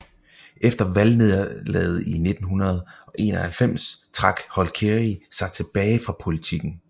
Efter valgnederlaget i 1991 trak Holkeri sig tilbage fra politikken